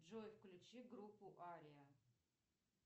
джой включи группу ария